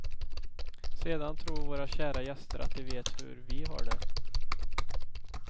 Sedan tror våra kära gäster att de vet hur vi har det.